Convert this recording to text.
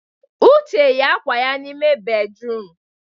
Uche yi akwa ya n'ime bédrụum.